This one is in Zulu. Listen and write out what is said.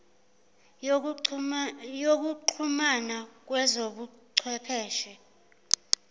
yokuxhumana kwezobu chwepheshe